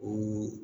O